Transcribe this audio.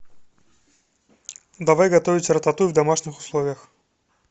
давай готовить рататуй в домашних условиях